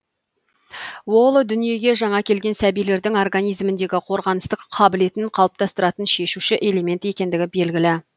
ол дүниеге жаңа келген сәбилердің организміндегі қорғаныстық қабілетін қалыптастыратын шешуші элемент екендігі белгілі